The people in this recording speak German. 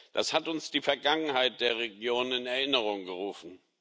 Das hat uns die Vergangenheit der Region in Erinnerung gerufen.